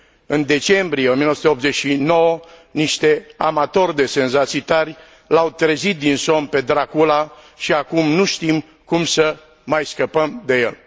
În decembrie 1989 niște amatori de senzații tari l au trezit din somn pe Dracula și acum nu știm cum să mai scăpăm de el.